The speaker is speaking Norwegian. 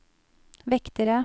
vektere